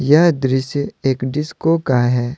यह दृश्य एक डिस्को का है।